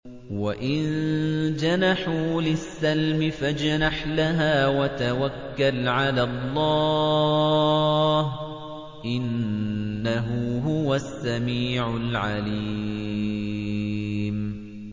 ۞ وَإِن جَنَحُوا لِلسَّلْمِ فَاجْنَحْ لَهَا وَتَوَكَّلْ عَلَى اللَّهِ ۚ إِنَّهُ هُوَ السَّمِيعُ الْعَلِيمُ